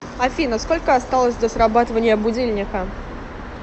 афина сколько осталось до срабатывания будильника